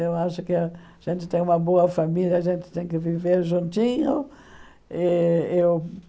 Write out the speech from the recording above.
Eu acho que a gente tem uma boa família, a gente tem que viver juntinho. Eeu